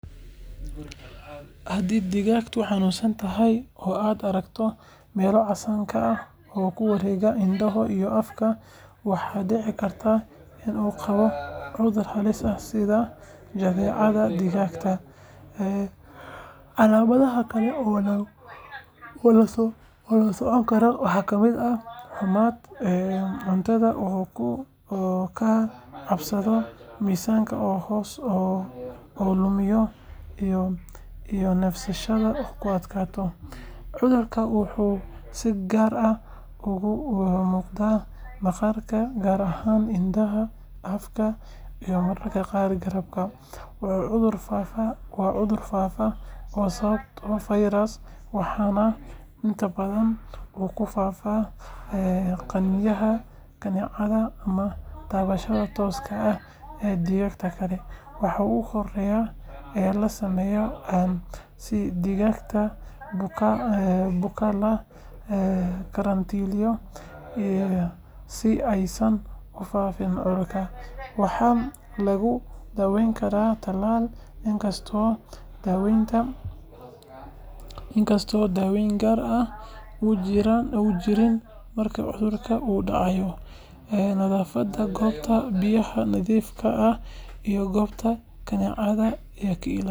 Hadi digagtu hanun santahay oo aad arakto mela casan kaah oo kuwarega indaha iyo afka, waxa dici karta in uu gawo cudue halis ah sida jadecada dugagta, een calamadaha kale oo lasoconkaro wax kamid ah xumaat een cuntada wuxu kacabsado misanka oo lumiyo iyo nefsashada oo kuadkato, cudurka wuxu si gaar ah ogumugda maqarka gaar ahan indaha afka ila mararka gaar garabka, wuxu cudurka u faafa wa cudur gaafaa oo sababo virus waxana inta badan uu kufaafaa ee ganinyaha kadicada ama tabashada tooska ah ee digaga kale waha ugoreya een lasameyo si digagta bukaa ee lagarantiliyo iyo si ay san ufaafin cudurka waxa lagudaweyn karaa taalal inkasto daweyn gaar ah ujirin marka cudurka uu dacayo, een nadafada gobta biya nadifka ah iyo sunta kanicada aya ilalinayan.